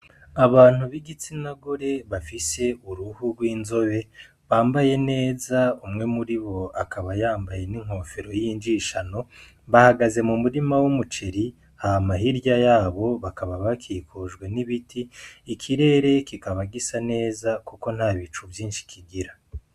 Abantu b'igitsina gore bafise uruhu rw'inzobe bambaye neza umwe muribo akaba yambaye n'inkofero yinjishanyo bahagaze mu murima w'umuceri hama hirya yabo bakaba hakikujwe n'ibiti ikirere kikaba gisa neza kuko ntabicu vyinshi kigira.